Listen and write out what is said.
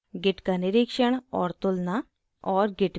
git का निरीक्षण और तुलना और